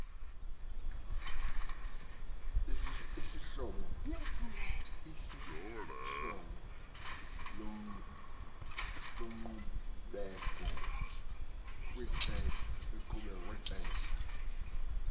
sikuhlobo loqhubeko kwixesha